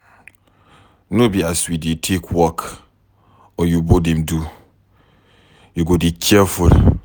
No be as we dey take work oyimbo dem dey do, you go dey careful.